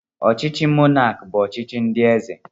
Ọchịchị monaki bụ ọchịchị ndị eze.